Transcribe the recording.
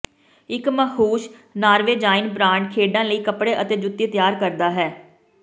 ਇੱਕ ਮਸ਼ਹੂਰ Norwegian brand ਖੇਡਾਂ ਲਈ ਕੱਪੜੇ ਅਤੇ ਜੁੱਤੀ ਤਿਆਰ ਕਰਦਾ ਹੈ